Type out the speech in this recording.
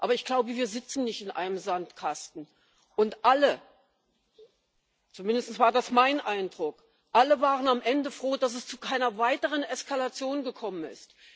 Aber ich glaube, wir sitzen nicht in einem Sandkasten, und alle zumindest war das mein Eindruck waren am Ende froh, dass es zu keiner weiteren Eskalation gekommen ist.